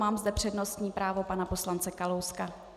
Mám zde přednostní právo pana poslance Kalouska.